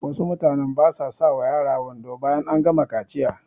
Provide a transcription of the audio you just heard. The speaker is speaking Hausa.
Wasu mutanen basa sa wa yara wando bayan an gama kaciya